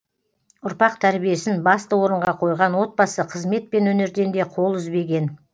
ұрпақ тәрбиесін басты орынға қойған отбасы қызмет пен өнерден де қол үзбеген